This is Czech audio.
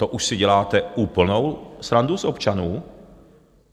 To už si děláte úplnou srandu z občanů.